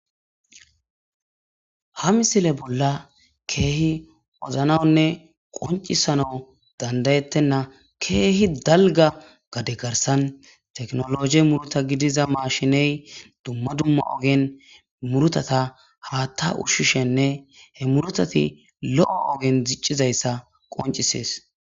ha misile bolla keehi woznanne qoncisano dandayettenna keehi dalga gade garsan teknologe muruta gidiza maashiney dumma dumma ogen murutata haatta ushshishenne he murutati lo7o ogen ziccizayssa qoncisees